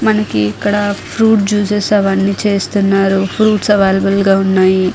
మనకి ఇక్కడ fruit juices అవన్నీ చేస్తున్నారు ఫ్రూట్స్ అవైలబుల్ గా ఉన్నాయి.